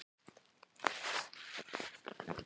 Sindri: Hvenær verðum við komin út úr þessu?